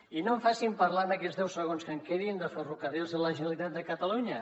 i no em facin parlar en aquests deu segons que em queden de ferrocarrils de la generalitat de catalunya